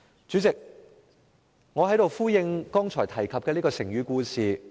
主席，讓我在此呼應我剛才提及的成語故事。